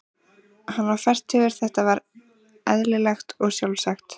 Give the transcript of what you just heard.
Hann var fertugur, þetta var eðlilegt og sjálfsagt.